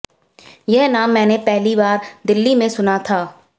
यह नाम मैंने पहली बार दिल्ली में सुना था